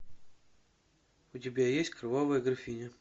у тебя есть кровавая графиня